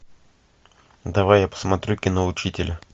давай я посмотрю кино учитель